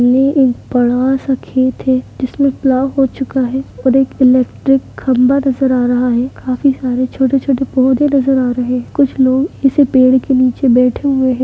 ये एक बड़ा सा खेत है जिसमे पलाव हो चुका है और एक इलेक्ट्रिक खंभा नजर आ रहा है काफ़ी सारे छोटे-छोटे पौधे नजर आ रहे है कुछ लोग इस पेड़ के निचे बैठे हुए है।